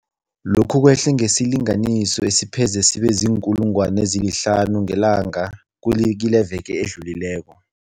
Lokhu kwehle ngesilinganiso esipheze sibe ziinkulungwana ezihlanu ngelanga kileveke edlulileko.